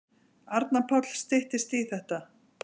Arnar Páll: Styttist í þetta.